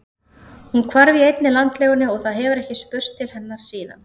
Hún hvarf í einni landlegunni og það hefur ekkert spurst til hennar síðan.